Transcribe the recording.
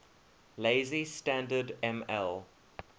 lazy standard ml